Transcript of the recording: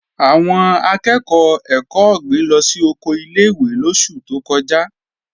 Àwọn akẹ́ẹ̀kọ́ ẹ̀kọ́ ọ̀gbìn lọ sí oko ilé-ìwé lóṣù tó kọjá